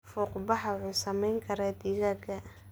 Fuuqbaxa wuxuu saameyn karaa digaagga.